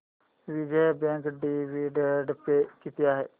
Vijaya bank dividend pay किती आहे